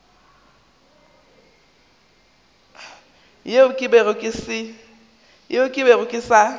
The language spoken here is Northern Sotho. yeo ke bego ke sa